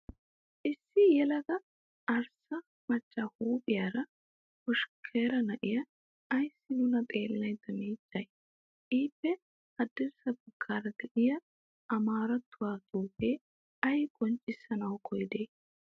Issi yelaga arssa macca huuphphiyaara hoshkkaara n'iyaa ayissi nuna xeellada miiccayi? Ippe haddirssa baggaara diyaa amaarattuwaa xuupe ayi qonccissana koyidee?